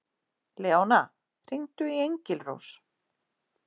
Leóna, hringdu í Engilrós.